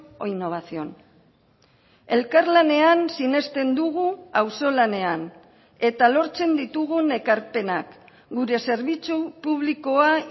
o innovación elkarlanean sinesten dugu auzolanean eta lortzen ditugun ekarpenak gure zerbitzu publikoa